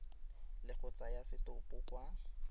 le go tsaya setopo kwa